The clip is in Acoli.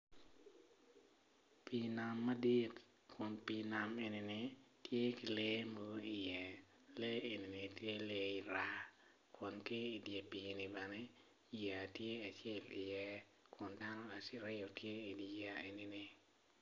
Pii nam, kun pii nam man tye ki odi iye i pii nam man tye raa dok ki i pii-ni bene yeya tye ki i ye kuj dano aryo gitye i yeya ni.